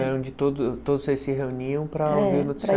É onde todo todos vocês se reuniam para ouvir o